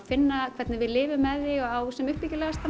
finna hvernig við lifum með því á sem